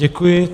Děkuji.